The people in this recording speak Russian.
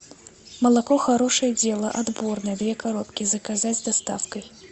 молоко хорошее дело отборное две коробки заказать с доставкой